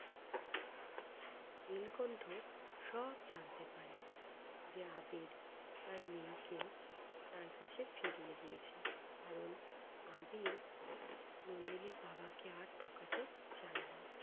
নীলকণ্ঠ সব জানতে পারে যে আবির তার মেয়েকে তার কাছে ফিরিয়ে দিয়েছে। কারণ আবির নন্দিনীর বাবাকে আর ঠকাতে চায় না।